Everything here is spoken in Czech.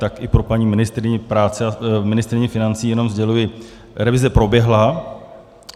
Tak i pro paní ministryni financí jenom sděluji - revize proběhla.